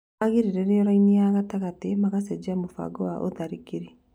magĩrĩrĩrio raini-inĩ ya gatagatĩ, magacenjia mũbango wa ũtharĩkĩri.